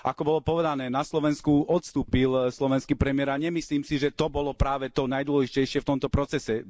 Ako bolo povedané, na Slovensku odstúpil slovenský premiér a nemyslím si, že to bolo práve to najdôležitejšie v tomto procese.